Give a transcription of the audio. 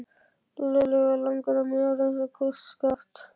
Lúlli var langur og mjór eins og kústskaft.